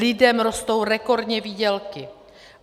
Lidem rostou rekordně výdělky.